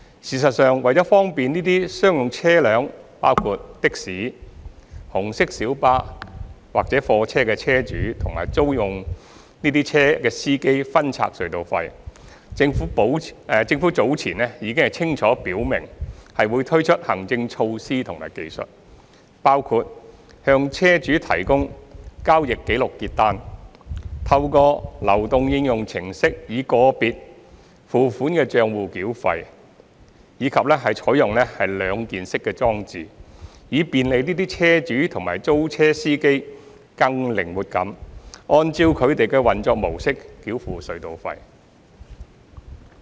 事實上，為方便這些商用車輛，包括的士、紅色小巴或貨車的車主及租用這些車輛的司機分拆隧道費，政府早前已清楚表明會推出行政措施和技術，包括向車主提供交易紀錄結單、透過流動應用程式以個別付款帳戶繳費，以及採用兩件式裝置，以便利這些車主及租車司機更靈活地按照他們的運作模式繳付隧道費。